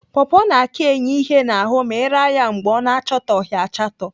Pọpọ na-aka enye ihe n'ahụ ma ị raa ya mgbe ọ na-achatoghị achatọ.